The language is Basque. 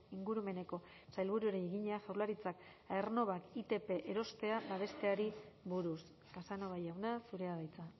ingurumeneko sailburuari egina jaurlaritzak aernnovak itp erostea babesteari buruz casanova jauna zurea da hitza